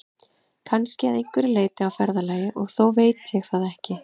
Kannski að einhverju leyti á ferðalagi, og þó veit ég það ekki.